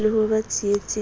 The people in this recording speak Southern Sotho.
le ho ba tsietseng ya